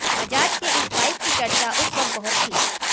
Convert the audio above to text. बजाज के इस बाइक की चर्चा उस वक्त बहुत थी